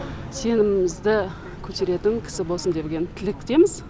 сенімімізді көтеретін кісі болсын деген тілектеміз